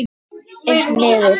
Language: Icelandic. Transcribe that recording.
Einn niður?